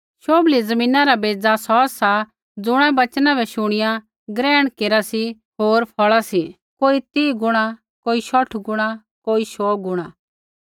शोभली ज़मीना रा बेज़ा सौ सा ज़ुणा वचना बै शुणिया ग्रहण केरा सी होर फ़ौल़ा सी कोई तीह गुणा कोई शौठ गुणा कोई शौऊ गुणा